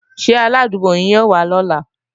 Ṣé arádúgbò yín ó wá lọ́la